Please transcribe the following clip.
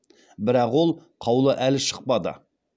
бірақ ол қаулы әлі шықпады